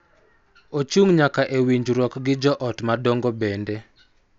Ochung� nyaka e winjruok gi jo ot madongo bende.